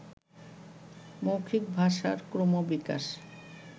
মৌখিক ভাষার ক্রমবিকাশ